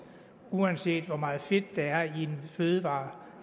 uanset hvor meget fedt der er i en fødevare